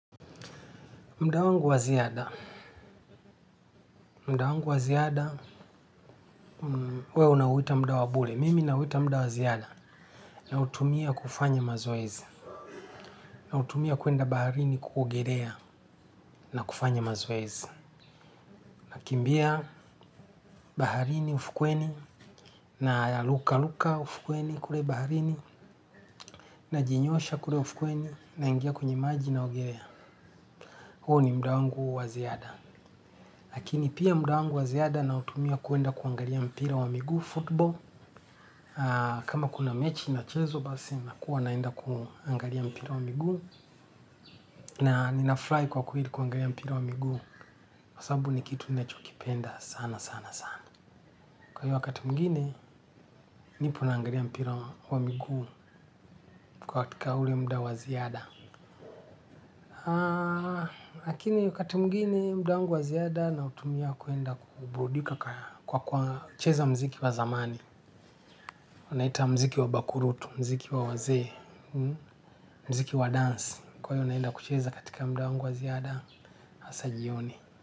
Muda wangu wa ziada. Muda wangu wa ziada, huwa unauita muda wa bure. Mimi nauita muda wa ziada nautumia kufanya mazoezi. Nautumia kwenda baharini kuogelea na kufanya mazoezi. Nakimbia baharini ufukweni na ruka ruka ufukweni kule baharini najinyosha kule ufukweni naingia kwenye maji naogelea. Huu ni muda wangu wa ziada. Lakini pia muda wangu wa ziada nautumia kwenda kuangalia mpira wa miguu, football. Kama kuna mechi inachezwa basi, nakuwa naenda kuangalia mpira wa miguu. Na ninafurahi kwa kweli kuangalia mpira wa miguu kwa sababu ni kitu ninachokipenda sana sana sana. Kwa hiyo wakati mwingine, nipo naangalia mpira wa miguu katika ule muda wa ziada. Lakini wakati mwingine muda wangu wa ziada nautumia kwenda kuburudika kwa kwa cheza mziki wa zamani. Unaita mziki wa bakurutu, mziki wa wazee mziki wa dance. Kwa hiyo naenda kucheza katika muda wangu wa ziada, hasa jioni.